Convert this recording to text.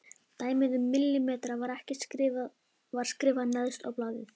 Dæmið um millimetrana var skrifað neðst á blaðið.